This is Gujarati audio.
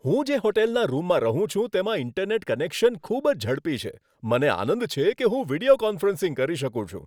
હું જે હોટલના રૂમમાં રહું છું તેમાં ઇન્ટરનેટ કનેક્શન ખૂબ જ ઝડપી છે. મને આનંદ છે કે હું વીડિયો કોન્ફરન્સિંગ કરી શકું છું.